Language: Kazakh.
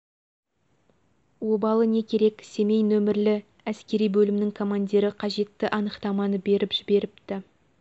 обалы не керек семей нөмірлі әскери бөлімнің командирі қажетті анықтаманы беріп жіберіпті